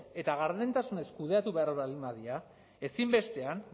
eta gardentasunez kudeatu behar baldin badira ezinbestean